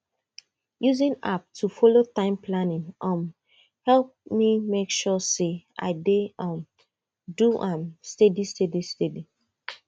using app to follow time planning um help me make sure say i dey um do am steady steady steady